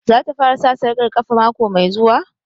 Za ta fara sa sarƙar ƙafa mako mai zuwa?